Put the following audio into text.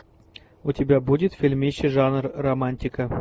у тебя будет фильмище жанр романтика